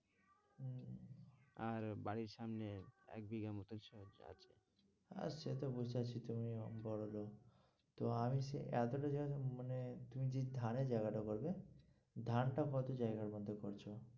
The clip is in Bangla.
আর বাড়ির সামনে এক বিঘের মতো আছে, আর সেতো বুঝতে পারছি তুমি বড়োলোক তো আমি বলছি, এতটা জায়গা মানে, তুমি যে ধানের জায়গাটা করবে ধানটা কত জায়গা ওইখান থেকে করছো।